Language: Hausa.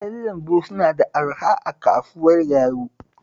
Kayan lambu suna da araha a kasuwar Garu